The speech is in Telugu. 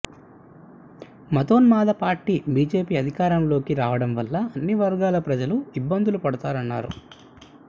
మతోన్మాద పార్టీ బీజేపీ అధికారంలోకి రావడం వల్ల అన్ని వర్గాల ప్రజల ఇబ్బందులు పడుతున్నారన్నారు